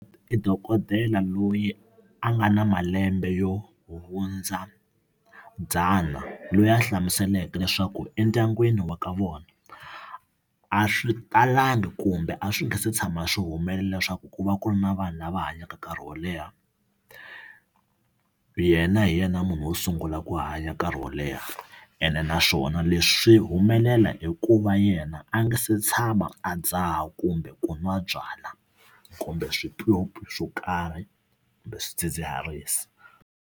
I dokodela loyi a nga na malembe yo hundza dzana loyi a hlamuseleke leswaku endyangwini wa ka vona a swi talangi kumbe a swi nga se tshama swi humelela leswaku ku va ku ri na vanhu lava hanyaka nkarhi wo leha yena hi yena munhu wo sungula ku hanya nkarhi wo leha ene naswona leswi swi humelela hikuva yena a nga se tshama a dzaha kumbe ku nwa byala kumbe swipyopyi swo karhi kumbe swidzidziharisi.